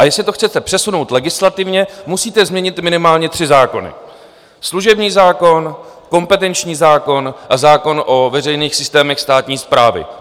A jestli to chcete přesunout legislativně, musíte změnit minimálně tři zákony: služební zákon, kompetenční zákon a zákon o veřejných systémech státní správy.